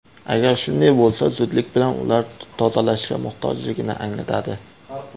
Agar shunday bo‘lsa, zudlik bilan ular tozalashga muhtojligini anglatadi.